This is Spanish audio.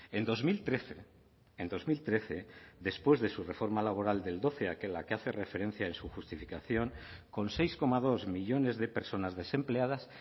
en dos mil trece en dos mil trece después de su reforma laboral en la que hace referencia en su justificación con seis coma dos millónes de personas desempleadas